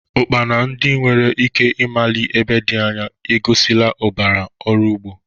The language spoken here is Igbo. Ukpara, ndị nwere ike ịmali ebe dị anya, egosila ụbara ọrụ ugbo.